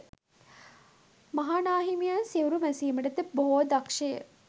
මහා නා හිමියන් සිවුරු මැසීමට ද බොහෝ දක්‍ෂය.